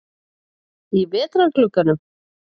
Í vetrarglugganum?